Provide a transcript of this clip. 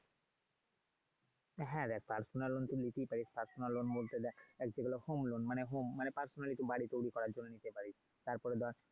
হ্যাঁ রে personal loan তো নিতেই পারিস। personal loan বলতে দেখ যেগুলো home loan মানে home মানে personally তুই বাড়ি তৈরী করার জন্য নিতে পারিস। তার পরে ধর।